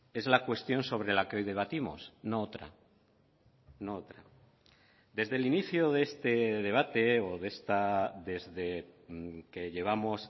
es la cuestión sobre la que hoy debatimos no otra no otra desde el inicio de este debate o desde que llevamos